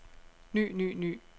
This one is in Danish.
ny ny ny